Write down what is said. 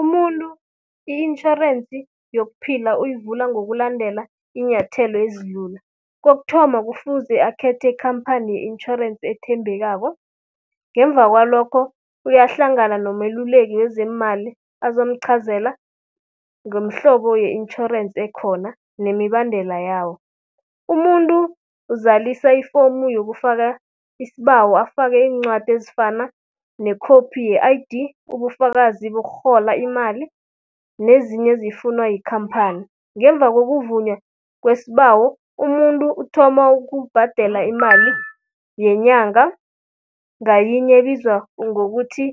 Umuntu i-intjhorensi yokuphila uyivula ngokulandela iinyathelo ezilula. Kokuthoma, kufuze akhethe ikhamphani ye-intjhorensi ethembekako. Ngemva kwalokho, uyahlangana nomeluleki wezeemali azokumqhazela ngomhlobo ye-intjhorensi ekhona nemibandela yawo. Umuntu uzalisa ifomu yokufaka isibawo, afake iincwadi ezifana nekhophi ye-I_D, ubufakazi bokurhola imali nezinye ezifunwa yikhamphani. Ngemva kokuvunywa kwesbawo, umuntu uthoma ukubhadela imali yenyanga ngayinye ebizwa ngokuthi